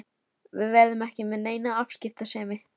Við verðum ekki með neina afskiptasemi.